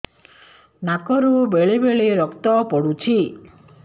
ନାକରୁ ବେଳେ ବେଳେ ରକ୍ତ ପଡୁଛି